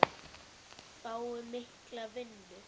Fái mikla vinnu.